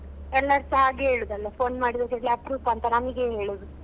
ಎಲ್ಲರುಸ ಹಾಗೆ ಹೇಳುದು ಅಲ್ಲ phone ಮಾಡಿದ ಕೂಡ್ಲೆ ಅಪ್ರೂಪ ಅಂತ ನಮಗೇ ಹೇಳುದು.